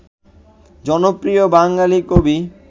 জনপ্রিয় বাঙালি কবি